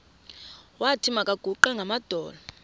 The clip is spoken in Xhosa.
wathi makaguqe ngamadolo